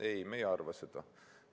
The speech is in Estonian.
Ei, me ei arva seda.